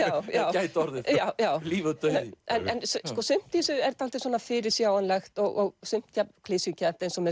gæti orðið það líf og dauði sumt í þessu er dálítið fyrirsjáanlegt og sumt jafnvel klisjukennt eins og með